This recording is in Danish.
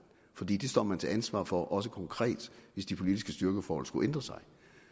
fordi det står man til ansvar for også konkret hvis de politiske styrkeforhold skulle ændre sig